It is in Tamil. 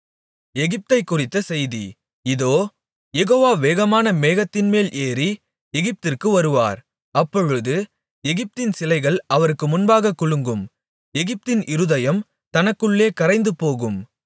எகிப்தைக் குறித்த செய்தி இதோ யெகோவா வேகமான மேகத்தின்மேல் ஏறி எகிப்திற்கு வருவார் அப்பொழுது எகிப்தின் சிலைகள் அவருக்கு முன்பாகக் குலுங்கும் எகிப்தின் இருதயம் தனக்குள்ளே கரைந்து போகும்